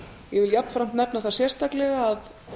ég vil jafnframt nefna sérstaklega að